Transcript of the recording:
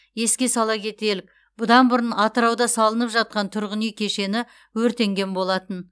еске сала кетелік бұдан бұрын атырауда салынып жатқан тұрғын үй кешені өртенген болатын